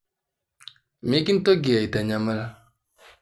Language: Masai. Mikintoki aitanyamal.